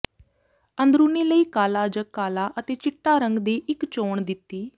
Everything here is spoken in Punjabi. ਅੰਦਰੂਨੀ ਲਈ ਕਾਲਾ ਜ ਕਾਲਾ ਅਤੇ ਚਿੱਟਾ ਰੰਗ ਦੀ ਇੱਕ ਚੋਣ ਦਿੱਤੀ